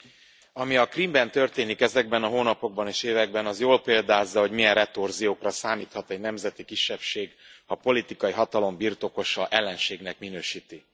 Elnök Úr! Ami a Krímben történik ezekben a hónapokban és években, az jól példázza, hogy milyen retorziókra számíthat egy nemzeti kisebbség, ha a politikai hatalom birtokosa ellenségnek minősíti.